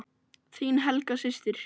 Þín Helga systir.